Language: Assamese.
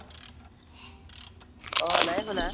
অ, নাই শুনা